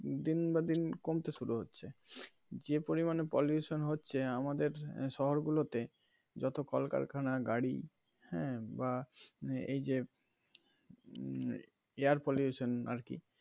দিন বেদিন কমতে শুরু হচ্ছে যে পরিমানে pollution হচ্ছে আমাদের শহর গুলোতে যত কল কারখানা গাড়ি হ্যা বা এই যে air pollution আর কি.